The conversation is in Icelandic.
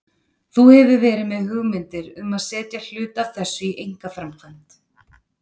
Þú hefur verið með hugmyndir um að setja hluta af þessu í einkaframkvæmd?